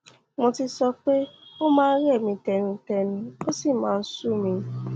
mo ti sọ pé ó pé ó máa ń rẹ mí tẹnutẹnu ó sì máa ń sú mi